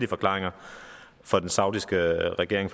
forklaringer fra den saudiske regering